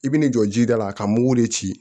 I bi n'i jɔ jida la ka mugu de ci